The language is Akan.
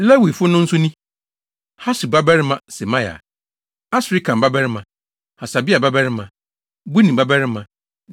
Lewifo no nso ni: Hasub babarima Semaia, Asrikam babarima, Hasabia babarima, Buni babarima;